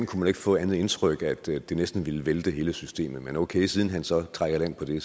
kunne man ikke få andet indtryk end at det næsten ville vælte hele systemet men okay siden ordføreren så trak i land på det